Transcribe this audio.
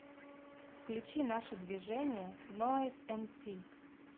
включи наше движение нойз эмси